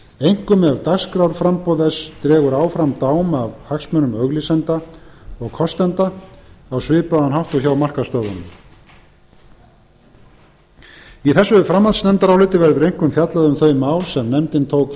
einkum ef dagskrárframboð þess dregur áfram dám af hagsmunum auglýsenda og kostenda á svipaðan hátt og hjá markaðsstöðvunum í þessu framhaldsnefndaráliti verður einkum fjallað um þau mál sem nefndin tók